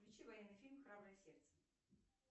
включи военный фильм храброе сердце